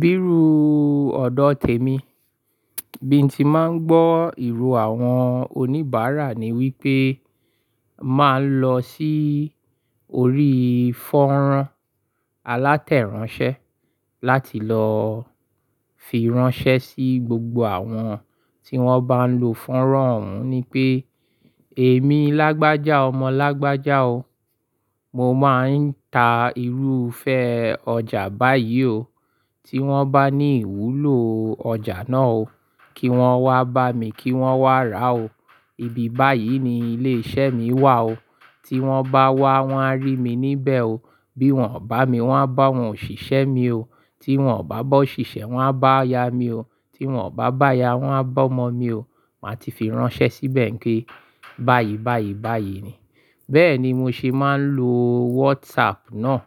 Bíru ọ̀dọ̀ tèmi, bí n ti máa ń gbọ́ ìró àwọn oníbàárà ni wípé, máa ń lọ sí orí fọ́nrán alátẹ̀ránṣẹ́ láti lọọ fi ránṣẹ́ sí gbogbo àwọn tí wón bá ń lò fọ́nrán òun ni pé, èmi Lágbájá ọmọ Lágbájá o. Mo máa ń ta irúfẹ́ ọjà báyìí o. Tí wón bá ní ìwúlò ọjà náà o, kí wón wá bá mi, kí wón wá rà o. Ibi báyìí ni ilé iṣẹ́ mi wà o. Tí wón bá wá, wón á rí mi níbẹ̀ o. Bí wón ò bá mi, wón á bá àwọn òṣìṣẹ́ mi o. Tí wón ò bá bọ̀ òṣìṣẹ́, wón á bá ìyá mi o. Tí wón ò bá bá ìyá, wón á bá ọmọ mi o. Máa ti fi ránṣẹ́ síbẹ̀ pé báyìí, báyìí, báyìí ni. Bẹ́ẹ̀ ni mo ṣe máa ń lo WhatsApp náà,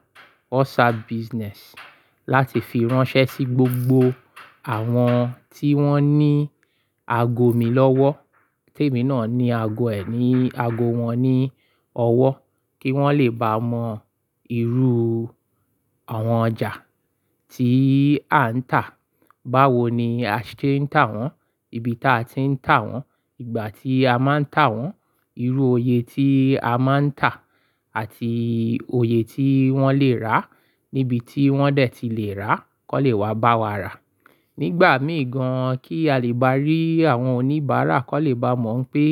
WhatsApp Business, láti fi ránṣẹ́ sí gbogbo àwọn tí wón ní ago mi lọ́wọ́. Tèmi náà ní ago ẹ̀, ní ago wọn ní ọwọ́, kí wón lè bá mọ irú àwọn ọjà tí à ń tà, báwo ni a ṣe ń tà wọ́n, ibi tí a ti ń tà wọ́n, ìgbà tí a máa ń tà wọ́n, irú òye tí a máa ń tà àti òye tí wọ́n lè rà níbi tí wọ́n dẹ̀ ti lè rà kàn lé wá bá wa rà. Nígbà míì gan-an kí a lè bá rí àwọn oníbàárà kọ́ lé bá mọ̀ pé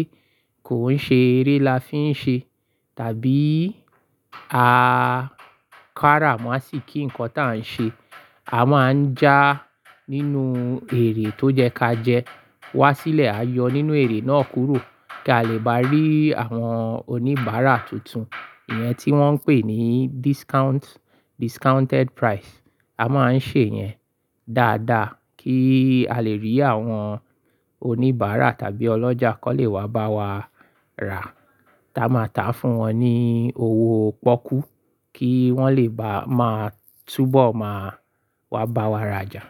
kò ń ṣe eré la fi ń ṣe tàbí a kára mọ́ sí i kí nǹkan tí à ń ṣe. A máa ń já nínú èrè tó jẹ ká jẹ, wá sílẹ̀ a yọ nínú èrè náà kúrò kí a lè bá rí àwọn oníbàárà tuntun. Ìyẹn tí wọ́n ń pè ní discount, discounted price. A máa ń ṣe yẹn dáadáa kí a lè rí àwọn oníbàárà tàbí ọlọ́jà kọ́ lé wá bá wa rà. Tí a máa tà fún wọn ní owó pọ́kú kí wọ́n lè bá máa túbọ̀ máa wá bá wa ra jà.